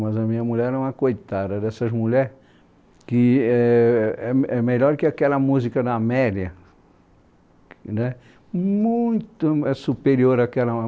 Mas a minha mulher é uma coitada dessas mulheres, que é é me é melhor que aquela música da Amélia né, muito m superior àquela.